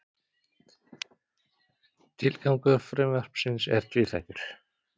Tilgangur frumvarpsins er tvíþættur